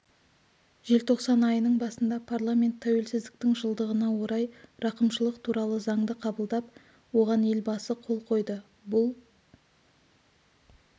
желтоқсан айының басында парламент тәуелсіздіктің жылдығына орай рақымшылық туралы заңды қабылдап оған елбасы қол қойды бұл